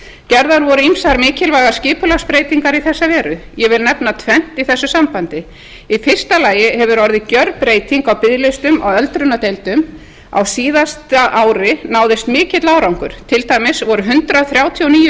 gerðar voru ýmsar mikilvægar skipulagsbreytingar í þessa veru ég vil nefna tvennt í þessu sambandi í fyrsta lagi hefur orðið gerbreyting á biðlistum á öldrunardeildum á síðasta ári náðist mikill árangur til dæmis voru hundrað þrjátíu og níu